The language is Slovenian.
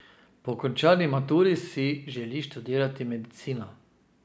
Po končani maturi si želi študirati medicino.